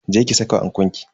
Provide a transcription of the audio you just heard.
Je ki saka ankon ki.